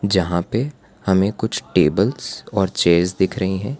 जहां पे हमें कुछ टेबल्स और चेयर्स दिख रहें हैं।